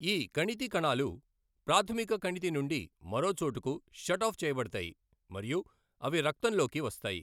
ఈ కణితి కణాలు ప్రాథమిక కణితి నుండి మరో చోటుకు షట్ ఆఫ్ చేయబడతాయి మరియు అవి రక్తంలోకి వస్తాయి.